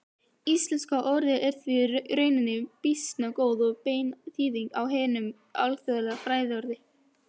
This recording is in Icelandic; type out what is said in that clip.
Íslenska orðið er því í rauninni býsna góð og bein þýðing á hinu alþjóðlega fræðiorði.